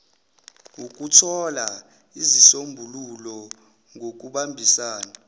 ukuthola izisombululo ngokubambisana